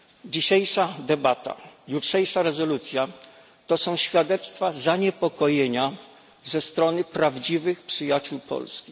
Dzisiejsza debata, jutrzejsza rezolucja to są świadectwa zaniepokojenia ze strony prawdziwych przyjaciół Polski.